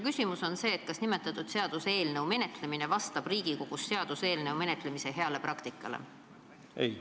Kas selle seaduseelnõu menetlemine vastab Riigikogus seaduseelnõu menetlemise heale praktikale?